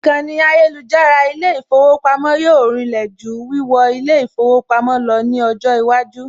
Ìkànnì ayélujára ilé ìfowópamọ́ yóò rinlẹ̀ jù wíwọ ilé ìfowópamọ́ lọ ní ọjọ́ iwájú